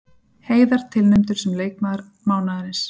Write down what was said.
Heiðar tilnefndur sem leikmaður mánaðarins